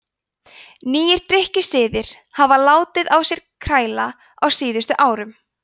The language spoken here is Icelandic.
nýir drykkjusiðir hafa látið á sér kræla á síðustu árum